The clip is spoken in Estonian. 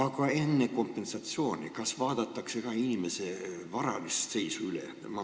Kas enne kompensatsiooni vaadatakse üle ka inimese varaline seis?